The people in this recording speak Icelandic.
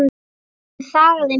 Hún þagði um hríð.